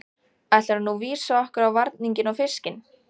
Ætlarðu nú vísa okkur á varninginn og fiskinn?